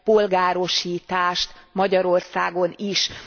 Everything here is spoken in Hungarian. polgárosítást Magyarországon is.